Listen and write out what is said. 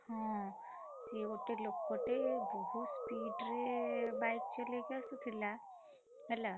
ହଁ, ସିଏ ଗୋଟେ ଲୋକଟେ ବହୁତ speed ରେ bike ଚଲେଇକି ଆସୁଥିଲା, ହେଲା।